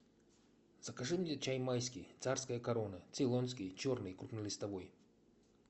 закажи мне чай майский царская корона цейлонский черный крупнолистовой